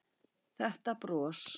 Þetta bros!